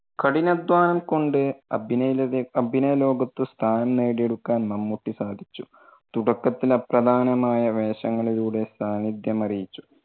കഠിനാദ്ധ്വാനം കൊണ്ട് അഭിനയ അഭിനയ ലോകത്ത്‌ സ്ഥാനം നേടിയെടുക്കാൻ മമ്മൂട്ടി സാധിച്ചു. തുടക്കത്തിൽ അപ്രധാനമായ വേഷങ്ങളിലൂടെ സാന്നിധ്യം അറിയിച്ചു.